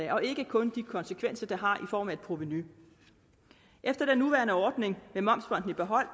og ikke kun de konsekvenser det har i form af et provenu efter den nuværende ordning med momsfondet i behold